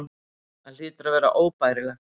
Það hlýtur að vera óbærilegt.